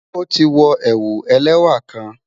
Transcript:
O ti wọ̀ ẹwù ẹlẹwa kàn